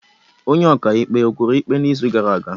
Onye ọkaikpe o kwuru ikpe n'izu gara aga?